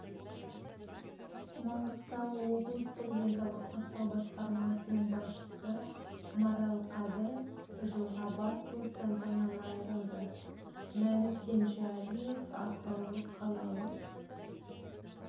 маңғыстау облыстық денсаулық сақтау басқармасының басшысы марал қадыр жылға бас бостандығынан айырылды мәлік кенжалиев ақтау қалалық